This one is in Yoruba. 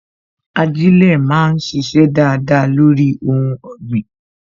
Ajilẹ máa sise dáadáa lórí ohun ọ̀gbìn